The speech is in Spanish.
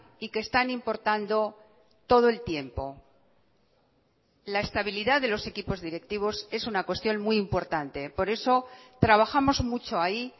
y que están importando todo el tiempo la estabilidad de los equipos directivos es una cuestión muy importante por eso trabajamos mucho ahí